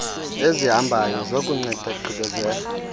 ezihambayo zokunceda gqibezela